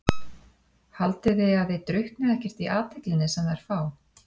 Haldið þið að þið drukknið ekkert í athyglinni sem þær fá?